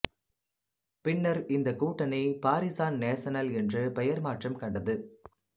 பின்னர் இந்தக் கூட்டணி பாரிசான் நேசனல் என்று பெயர் மாற்றம் கண்டது